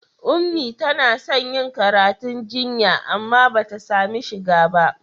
Ummi tana son yin karatu jinya amma ba ta sami shiga ba.